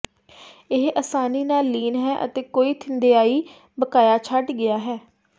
ਇਹ ਆਸਾਨੀ ਨਾਲ ਲੀਨ ਹੈ ਅਤੇ ਕੋਈ ਥਿੰਧਿਆਈ ਬਕਾਇਆ ਛੱਡ ਗਿਆ ਹੈ